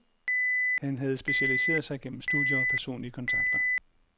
Han have specialiseret sig gennem studier og personlige kontakter.